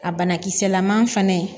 A banakisɛlama fana